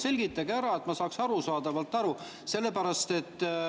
Selgitage ära, nii et see oleks arusaadav ja ma saaksin aru.